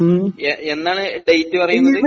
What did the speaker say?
എന്നാണ് ഡേറ്റ് വരുന്നത്